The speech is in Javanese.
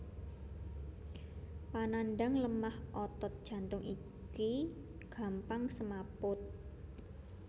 Panandhang lemah otot jantung iki gampang semaput